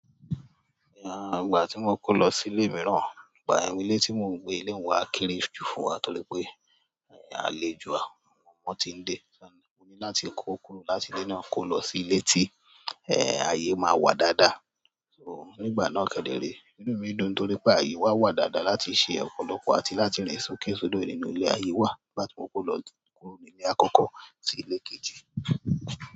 Ìgbà tí mo kó lọ sí ilé mì náà, ìgbà yẹn ilé tí mò ń gbé ilé n wa kéré jù fún wa torí pé àlejò à wọn ti ń de. Mo ní láti kó kúrò láti ilé náà kó lọ sí ilé tí ẹ́ẹ́ ayé máa wà dáadáa. So nígbà náà kẹ́dẹ̀ re, inú mi dùn nítorí pé ayé wa wà dáadáa láti se ọ̀pọ̀lọpọ̀ àti láti rìn sókè sodo nínú ilé. Ayé wà nígbà tí mo lọ kúrò nílé àkọ́kọ́ sí ilé kejì.